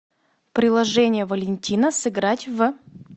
приложение валентина сыграть в